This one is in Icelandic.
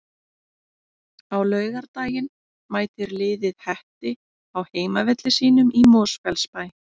Á laugardaginn mætir liðið Hetti á heimavelli sínum í Mosfellsbæ.